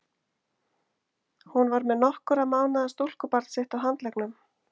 Hún var með nokkurra mánaða stúlkubarn sitt á handleggnum.